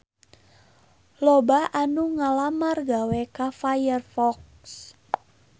Loba anu ngalamar gawe ka Firefox